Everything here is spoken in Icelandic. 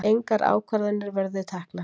Engar ákvarðanir verið teknar